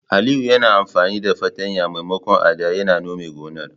Aliyu yayi amfani da fartanya maimakon adda ya nome gonar.